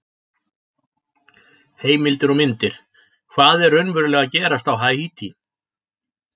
Heimildir og myndir: Hvað er raunverulega að gerast á Haítí?